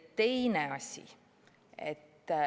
Teine asi.